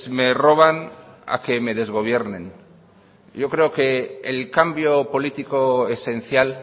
me roban a que me desgobiernen yo creo que el cambio político esencial